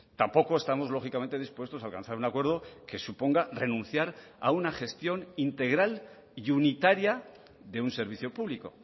tampoco estamos lógicamente dispuestos a alcanzar un acuerdo que suponga renunciar a una gestión integral y unitaria de un servicio público